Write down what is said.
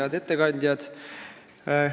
Head ettekandjad!